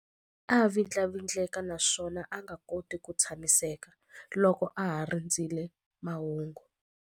A vindlavindleka naswona a nga koti ku tshamiseka loko a ha rindzerile mahungu.